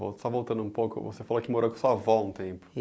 Vol Só voltando um pouco, você falou que morou com a sua avó um tempo